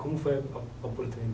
Como foi a